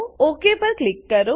okay પર click કરો